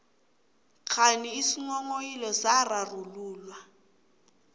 kghani isinghonghoyilo sararululwa